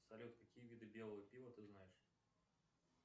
салют какие виды белого пива ты знаешь